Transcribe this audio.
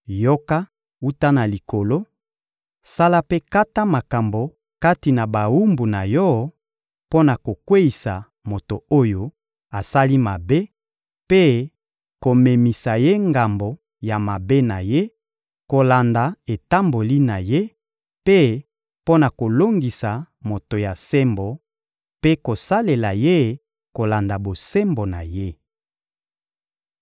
yoka wuta na Likolo; sala mpe kata makambo kati na bawumbu na Yo mpo na kokweyisa moto oyo asali mabe mpe komemisa ye ngambo ya mabe na ye kolanda etamboli na ye, mpe mpo na kolongisa moto ya sembo mpe kosalela ye kolanda bosembo na ye.